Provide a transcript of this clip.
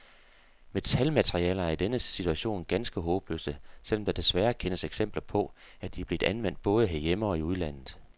Metalmaterialer er i denne situation ganske håbløse, selv om der desværre kendes eksempler på, at de er blevet anvendt både herhjemme og i udlandet.